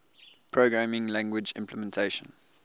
programming language implementation